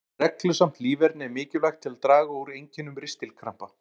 Reglusamt líferni er mikilvægt til að draga úr einkennum ristilkrampa.